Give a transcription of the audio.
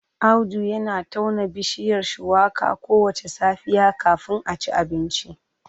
Audu yana tauna bishiyar Shuwaka kowace safiya kafin a ci abinci